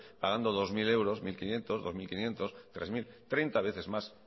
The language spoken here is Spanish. pagando dos mil euros mil quinientos dos mil quinientos tres mil treinta veces más